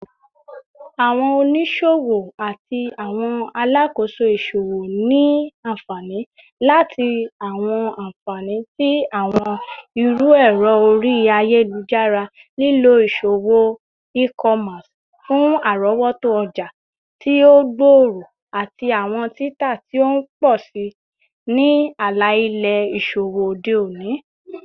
Awọn oniṣowo ati awọn alakoso iṣowo ni anfani lati awọn anfani ti awọn iru ẹrọ ori ayelujara, lilo iṣowo e-commerce fun arọwọto ọja ti o gbooro ati awọn tita ti o pọ si ni ala-ilẹ iṣowo ode oni.